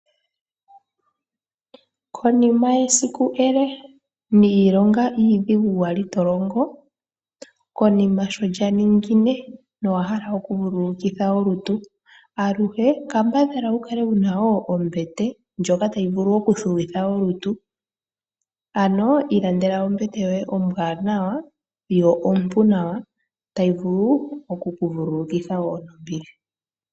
Konima yesiku ele niilonga iidhigu wa li to longo, konima sho lya ningine nowa hala okuvululukitha olutu, aluhe kambadhala wu kale wu na wo ombete ndjoka tayi vulu okuthuwitha olutu. Ano ilandela ombete yoye ombwaanawa yo ompu nawa tayi vulu oku ku vululukitha wo nombili.